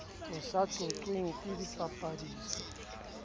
o sa qoqweng ke dipapiso